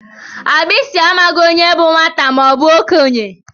Agbisi amaghị onye bú nwata ma ọ bu okenye.